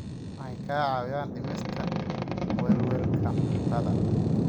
Waxay kaa caawinayaan dhimista welwelka cuntada.